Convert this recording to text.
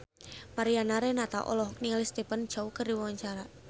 Mariana Renata olohok ningali Stephen Chow keur diwawancara